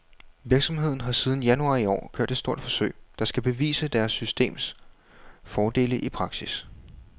Virksomheden har siden januar i år kørt et stort forsøg, der skal bevise deres systems fordele i praksis.